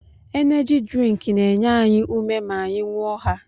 Eneji drink na-enye anyị ume ma anyị ṅụọ ha